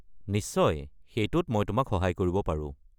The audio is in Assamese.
নিশ্চয়, সেইটোত মই তোমাক সহায় কৰিব পাৰো।